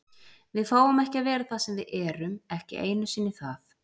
Við fáum ekki að vera það sem við erum, ekki einu sinni það.